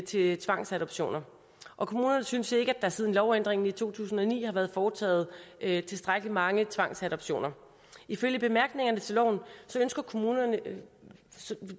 til tvangsadoptioner og kommunerne synes ikke at der siden lovændringen i to tusind og ni har været foretaget tilstrækkelig mange tvangsadoptioner ifølge bemærkningerne til loven ønsker kommunerne